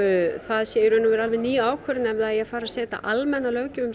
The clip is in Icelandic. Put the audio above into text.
það sé í raun og veru alveg ný ákvörðun ef það eigi að fara að setja almenna löggjöf um